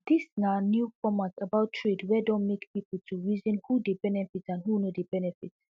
dis na new format about trade wey don make pipo to reason who dey benefit and who no dey benefit